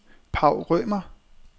Paw Rømer